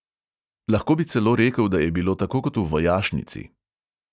Lahko bi celo rekel, da je bilo tako kot v vojašnici.